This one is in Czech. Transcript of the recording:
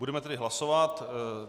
Budeme tedy hlasovat.